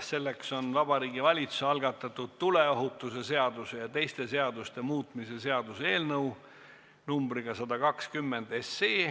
Selleks on Vabariigi Valitsuse algatatud tuleohutuse seaduse ja teiste seaduste muutmise seaduse eelnõu numbriga 120.